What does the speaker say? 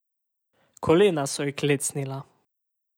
Kolena so ji klecnila.